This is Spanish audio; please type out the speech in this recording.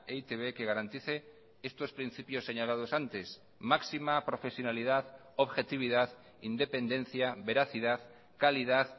e i te be que garantice estos principios señalados antes máxima profesionalidad objetividad independencia veracidad calidad